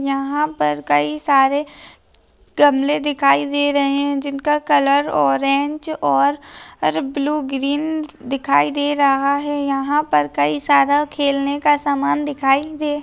यहा पर कई सारे गमले दिखाई दे रहे है जिनका कलर ऑरेंज और ब्लू ग्रीन दिखाई दे रहा है। यहा पर कई सारा खेलने का सामान दिखाई दे--